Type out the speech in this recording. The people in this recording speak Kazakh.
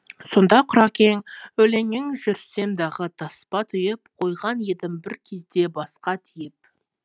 сонда құракең өлеңнен жүрсемдағы таспа түйіп қойған едім бір кезде басқа тиіп